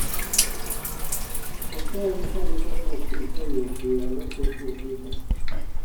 Coffeny kan kodi nyadhi ei od bura ne oketi Twit